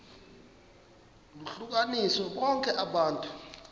lohlukanise bonke abantu